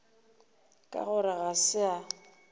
ka gore ga se a